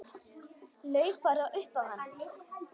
Laug bara upp á hann.